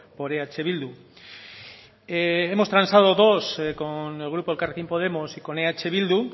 por eh bildu hemos transado dos con el grupo elkarrekin podemos y con eh bildu